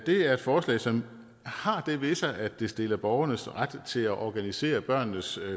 er et forslag som har det ved sig at det stiller borgernes ret til at organisere børnenes